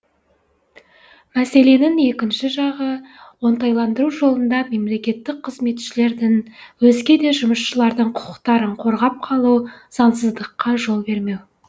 мәселенің екінші жағы оңтайландыру жолында мемлекеттік қызметшілердің өзгеде жұмысшылардың құқықтарын қорғап қалу заңсыздыққа жол бермеу